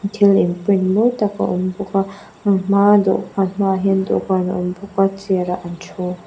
thil in print mawi tak a awm bawk a an hma a dawhkan hma ah hian dawhkan a awm bawk a chair ah an thu.